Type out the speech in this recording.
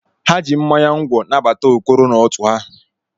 Ha ji mmanya ngwọ nabata Okoro n'otu ha.